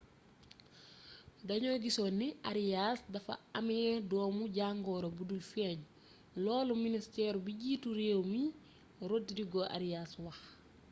dañoo gisoon ni arias dafa amé doomu-jangoro budul feeñ loolu ministëru bjiitu réew mi rodrigo arias wax